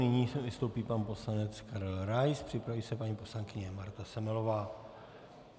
Nyní vystoupí pan poslanec Karel Rais, připraví se paní poslankyně Marta Semelová.